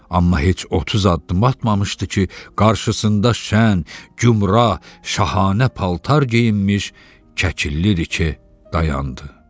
Amma heç 30 addım atmamışdı ki, qarşısında şən, gümrah, şahanə paltar geyinmiş Kəkilliriki dayandı.